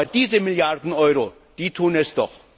Aber diese Milliarden Euro, die tun es doch!